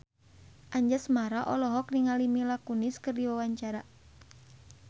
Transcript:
Anjasmara olohok ningali Mila Kunis keur diwawancara